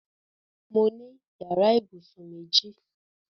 Mo ní yàrá ìbùsùn méjì.